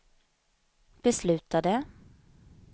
beslutade